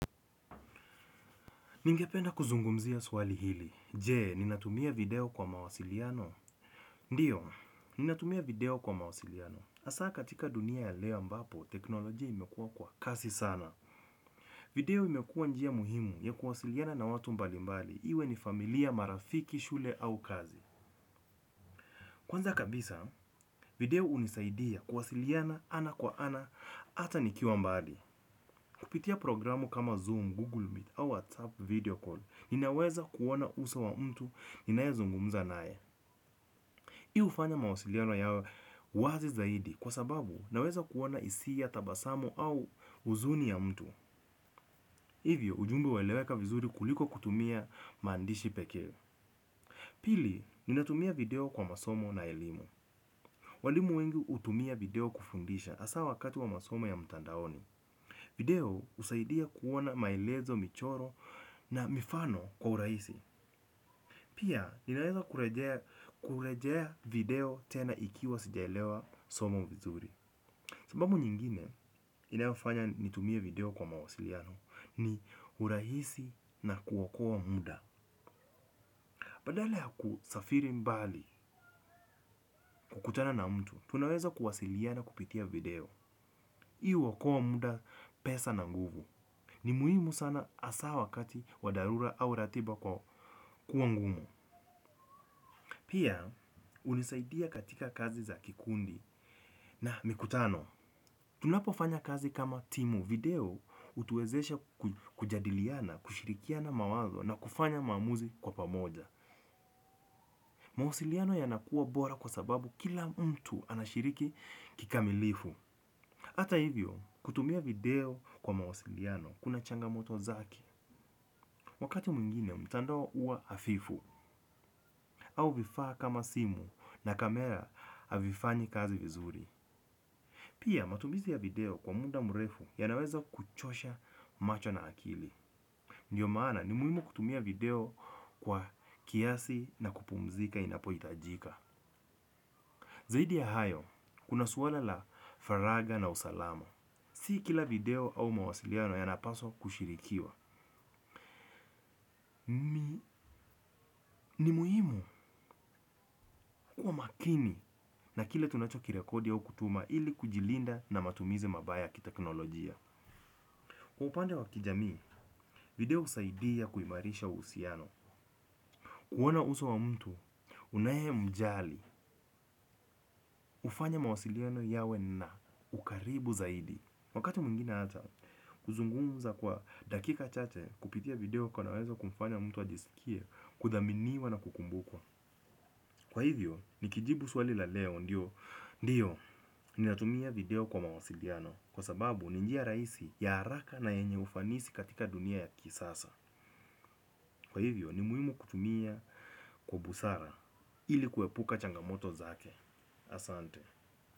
Ningependa kuzungumzia swali hili. Je, ninatumia video kwa mawasiliano? Ndiyo, ninatumia video kwa mawasiliano. Hasa katika dunia ya leo ambapo, tekinolojia imekua kwa kasi sana. Video imekuwa njia muhimu ya kuwasiliana na watu mbali mbali, iwe ni familia, marafiki, shule au kazi. Kwanza kabisa, video hunisaidia kuwasiliana ana kwa ana, hata nikiwa mbali. Kupitia programu kama Zoom, Google Meet au WhatsApp video call, ninaweza kuona uso wa mtu ninayezungumza naye. Hii hufanya mawasiliano yawe wazi zaidi kwa sababu naweza kuona hisia, tabasamu au huzuni ya mtu. Hivyo, ujumbe hueleweka vizuri kuliko kutumia maandishi pekee. Pili, ninatumia video kwa masomo na elimu. Walimu wengi hutumia video kufundisha hasa wakati wa masomo ya mtandaoni. Video husaidia kuona maelezo, michoro na mifano kwa urahisi. Pia, ninaweza kurejea video tena ikiwa sijaelewa somo vizuri. Sababu nyingine, inafanya nitumie video kwa mawasiliano ni urahisi na kuokoa muda. Badala ya kusafiri mbali kukutana na mtu, tunaweza kuwasiliana kupitia video. Hii huokua muda, pesa na nguvu. Ni muhimu sana hasa wakati wa dharura au ratiba kuwa ngumu. Pia, hunisaidia katika kazi za kikundi na mikutano. Tunapofanya kazi kama timu, video hutuwezesha kujadiliana, kushirikiana mawazo na kufanya maamuzi kwa pamoja. Mawasiliano yanakuwa bora kwa sababu kila mtu anashiriki kikamilifu. Hata hivyo, kutumia video kwa mawasiliano kuna changamoto zake, wakati mwingine mtanda huwa hafifu, au vifaa kama simu na kamera havifanyi kazi vizuri. Pia, matumizi ya video kwa muda mrefu yanaweza kuchosha macho na akili. Ndiyo maana, ni muhimu kutumia video kwa kiasi na kupumzika inapohitajika. Zaidi ya hayo, kuna suala la faragha na usalama. Si kila video au mawasiliano yanapaswa kushirikiwa. Ni muhimu kuwa makini na kile tunachokirekodi au kutuma ili kujilinda na matumizi mabaya ki tekinolojia. Kwa upande wa kijamii, video husaidia kuimarisha uhusiano. Kuona uso wa mtu, unayemjali, hufanya mawasiliano yawe na ukaribu zaidi. Wakati mwingine hata kuzungumuza kwa dakika chache kupitia video call, kunaweza kumfanya mtu ajisikie kuthaminiwa na kukumbukwa. Kwa hivyo, nikijibu swali la leo, ndiyo ninatumia video kwa mawasiliano. Kwa sababu ni njia rahisi, ya haraka na yenye ufanisi katika dunia ya kisasa. Kwa hivyo, ni muhimu kutumia kwa busara ili kuepuka changamoto zake. Asante.